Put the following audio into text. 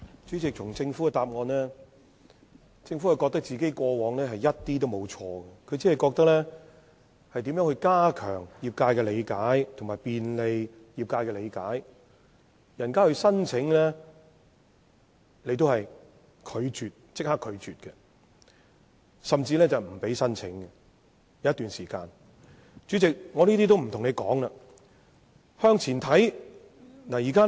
主席，從政府的主體答覆可見，它認為自己過往完全沒有做錯，只提出要加強和便利業界對此事的理解，但其實它過往是立即拒絕業界提出申請的，甚至有一段時間不容許業界提出申請。